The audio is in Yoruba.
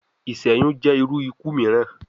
Iṣẹyun jẹ iru iku miiran